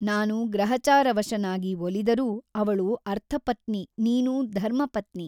ನಾನು ಗ್ರಹಚಾರವಶನಾಗಿ ಒಲಿದರೂ ಅವಳು ಅರ್ಥಪತ್ನಿ ನೀನು ಧರ್ಮಪತ್ನಿ.